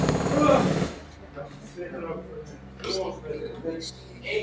Var í öllu uppnáminu búinn að steingleyma strýinu.